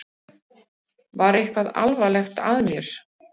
Var eitthvað alvarlegt að mér?